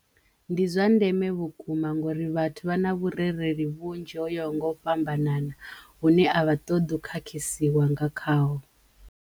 Ndi zwa ndeme vhukuma ngori vhathu vha na vhurereli vhunzhi ho ya ho nga u fhambanana hune a vha ṱoḓi u khakhasiwa nga khaho.